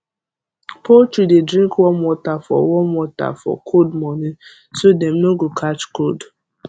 poultry dey drink warm water for warm water for cold morning so dem no go catch cold